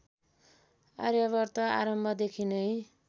आर्यावर्त आरम्भदेखि नै